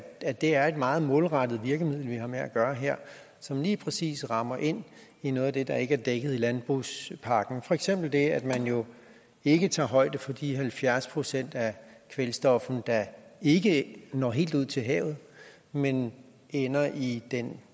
at det er et meget målrettet virkemiddel vi har med at gøre her som lige præcis rammer ind i noget af det der ikke er dækket i landbrugspakken for eksempel det at man jo ikke tager højde for de halvfjerds procent af kvælstoffet der ikke når helt ud til havet men ender i den